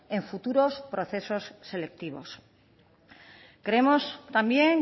en futuros procesos selectivos creemos también